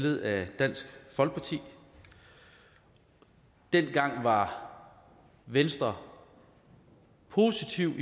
af dansk folkeparti dengang var venstre positiv